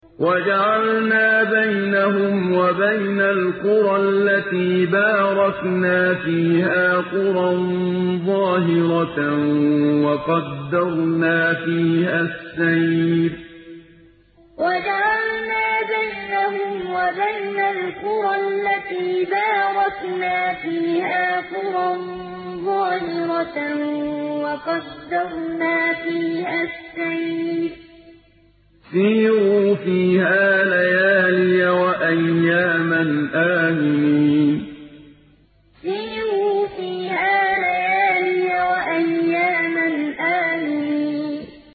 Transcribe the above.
وَجَعَلْنَا بَيْنَهُمْ وَبَيْنَ الْقُرَى الَّتِي بَارَكْنَا فِيهَا قُرًى ظَاهِرَةً وَقَدَّرْنَا فِيهَا السَّيْرَ ۖ سِيرُوا فِيهَا لَيَالِيَ وَأَيَّامًا آمِنِينَ وَجَعَلْنَا بَيْنَهُمْ وَبَيْنَ الْقُرَى الَّتِي بَارَكْنَا فِيهَا قُرًى ظَاهِرَةً وَقَدَّرْنَا فِيهَا السَّيْرَ ۖ سِيرُوا فِيهَا لَيَالِيَ وَأَيَّامًا آمِنِينَ